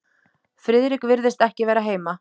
Friðrik virðist ekki vera heima